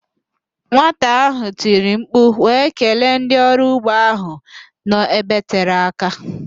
Nwata ahụ tiri mkpu wee kelee ndị ọrụ ugbo ahụ nọ ebe tere aka